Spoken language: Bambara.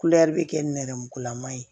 bɛ kɛ nɛrɛmugulama ye